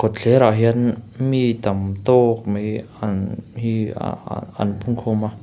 kawtthler ah hian mi tam tawk mai an hi ah ah an pung khawm a.